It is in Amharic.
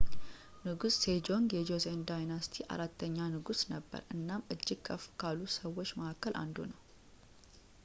ንጉስ ሴጆንግ የ ጆሴን ዳይነስቲይ አራተኛ ንጉስ ነበር እናም እጅግ ከፍ ካሉ ሰዎች መካከል አንዱ ነው